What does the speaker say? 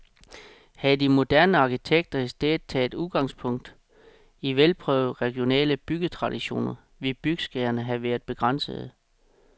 Havde de moderne arkitekter i stedet taget udgangspunkt i velprøvede regionale byggetraditioner, ville byggeskaderne have været begrænsede.